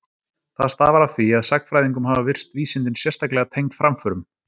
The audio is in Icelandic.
Það stafar af því að sagnfræðingum hafa virst vísindin sérstaklega tengd framförum.